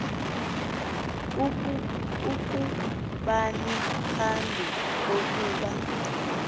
kubani phambi kokuba